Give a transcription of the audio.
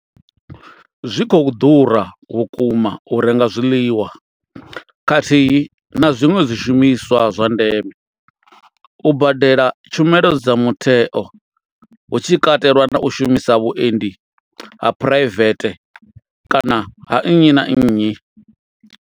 Zwi vho ḓura vhukuma u renga zwiḽiwa khathihi na zwiṅwe zwishumiswa zwa ndeme, u badela tshumelo dza mutheo hu tshi katelwa na u shumisa vhuendi ha phuraivethe kana ha nnyi na nnyi.